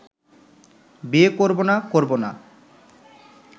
বিয়ে করব না করব না